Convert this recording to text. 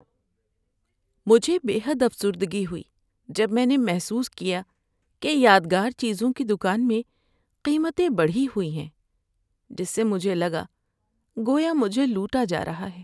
مجھے بے حد افسردگی ہوئی جب میں نے محسوس کیا کہ یادگار چیزوں کی دکان میں قیمتیں بڑھی ہوئی ہیں، جس سے مجھے لگا گویا مجھے لوٗٹا جا رہا ہے۔